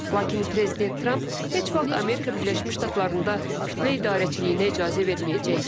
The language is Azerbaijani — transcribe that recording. Lakin prezident Tramp heç vaxt Amerika Birləşmiş Ştatlarında kütlə idarəçiliyinə icazə verməyəcək.